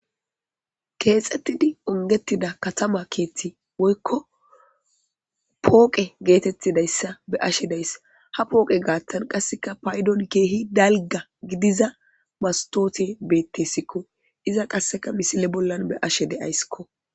keexxettidi ongetida katama keethti woykko pooqe geetettidayssa be ashe deyss ha pooqe gaattan qasseka paydon keehi dalga gidiza mastoote bettesikko iza qasseka misile bollan be ashe de7aysskko